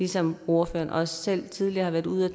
som ordføreren også selv tidligere har været ude at